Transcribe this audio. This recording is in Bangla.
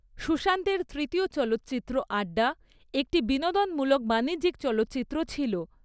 সুশান্তের তৃতীয় চলচ্চিত্র 'আড্ডা' একটি বিনোদনমূলক বাণিজ্যিক চলচ্চিত্র ছিল।